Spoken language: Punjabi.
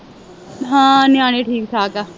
ਹਾਂ ਨਿਆਣੇ ਠੀਕ ਠਾਕ ਹੈ